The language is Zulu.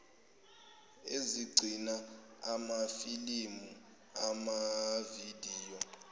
ezigcina amafilimu amavidiyo